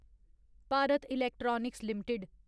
Bharat electronics limited